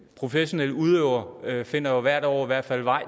professionelle udøvere finder jo hvert år i hvert fald vej